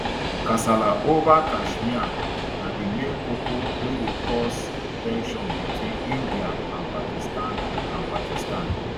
kasala ova kashmir na di main koko wey dey cause ten sions between india and pakistan and pakistan